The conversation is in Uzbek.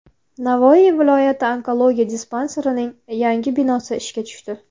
Navoiy viloyati onkologiya dispanserining yangi binosi ishga tushdi.